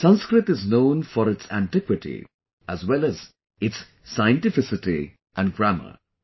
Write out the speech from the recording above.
Sanskrit is known for its antiquity as well as its scientificity and grammar